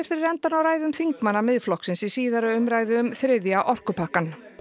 fyrir endann á ræðum þingmanna Miðflokksins í síðari umræðu um þriðja orkupakkann